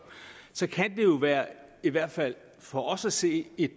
så kan det jo være i hvert fald for os at se et